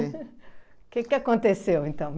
Que que aconteceu, então?